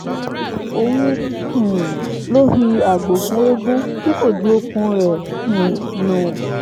òun um ló fi àgbò fún eegun tí kò ju okùn rẹ̀ um nù